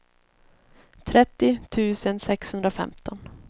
trettio tusen sexhundrafemton